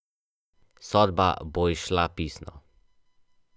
Točka fiksacije je lahko pika na stripu in, zakaj ne, tudi hipnotizerjevo oko.